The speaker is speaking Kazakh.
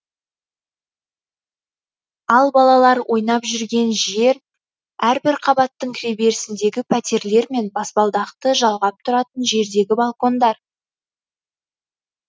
ал балалар ойнап жүрген жер әрбір қабаттың кіреберісіндегі пәтерлермен баспалдақты жалғап тұратын жердегі балкондар